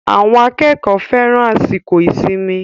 Àwọn akẹ́kọ̀ọ́ fẹ́ran àsìkò ìsinmi.